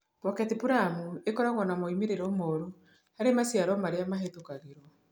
Pocket plum - ĩkoragwo na moimĩrĩro moru harĩ maciaro marĩa mahĩtũkagĩrũo